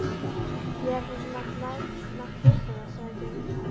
Ég hefði svo sem mátt vita það sagði Geir.